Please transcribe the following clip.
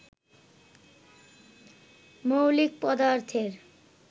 মৌলিক পদার্থের